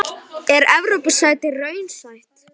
Er Evrópusæti raunsætt?